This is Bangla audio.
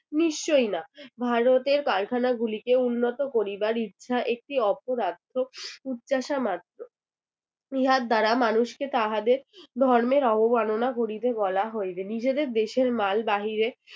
নিশ্চয়ই না। ভারতের কারখানা গুলিকে উন্নত করিবার ইচ্ছা একটি অপদার্থ উচ্চাশা মাত্র। ইহার দ্বারা মানুষকে তাহাদের ধর্মের অবমাননা করিতে বলা হইবে। নিজেদের দেশের মাল বাহিরে